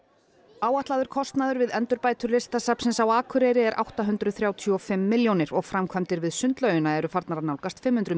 áætlaður kostnaður við endurbætur Listasafnsins á Akureyri er átta hundruð þrjátíu og fimm milljónir og framkvæmdir við sundlaugina eru farnar að nálgast fimm hundruð